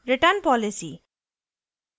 return policy वापसी नीति